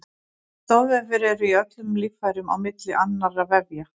Stoðvefir eru í öllum líffærum á milli annarra vefja.